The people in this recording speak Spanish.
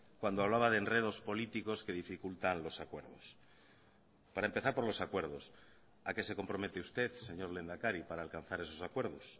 cuando hablaba de enredos políticos que dificultan los acuerdos para empezar por los acuerdos a qué se compromete usted señor lehendakari para alcanzar esos acuerdos